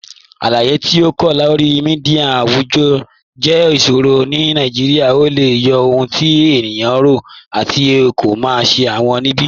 Aláyé̀ tí kò tó lọ̀rí míḍíà awùjọ́ jẹ́ ìṣòrọ̀ ní Nàìjíríà. Ọ̀ lẹ̀ yí ọhun tí ènìyàn rọ̀, àtì kí ó má ṣẹ̀ wọn níbi